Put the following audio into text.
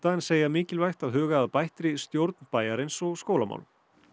en segja mikilvægt að huga að bættri stjórn bæjarins og skólamálum